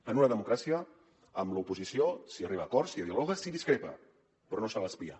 en una democràcia amb l’oposició s’hi arriba a acords s’hi dialoga s’hi discrepa però no se l’espia